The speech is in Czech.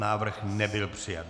Návrh nebyl přijat.